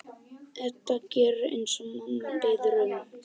Edda gerir eins og mamma biður um.